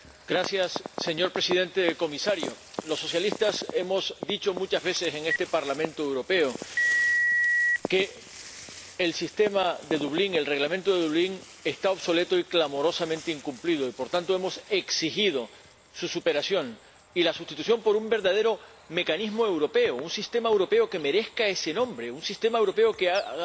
Señor Presidente, señor Comisario, los socialistas hemos dicho muchas veces en este Parlamento Europeo que el Reglamento de Dublín está obsoleto y es clamorosamente incumplido y, por tanto, hemos exigido su superación y la sustitución por un verdadero mecanismo europeo, un sistema europeo que merezca ese nombre, un sistema europeo que haga honor